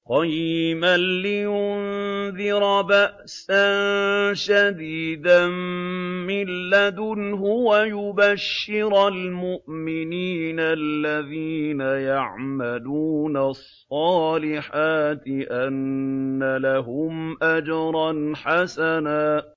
قَيِّمًا لِّيُنذِرَ بَأْسًا شَدِيدًا مِّن لَّدُنْهُ وَيُبَشِّرَ الْمُؤْمِنِينَ الَّذِينَ يَعْمَلُونَ الصَّالِحَاتِ أَنَّ لَهُمْ أَجْرًا حَسَنًا